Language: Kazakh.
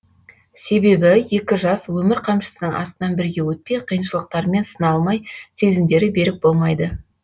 себебі екі жас өмір қамшысының астынан бірге өтпей қиыншылықтармен сыналмай сезімдері берік болмайды